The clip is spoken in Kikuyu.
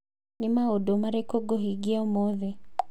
Nĩ maũndũ marĩkũ ngũhingia ũmũthĩ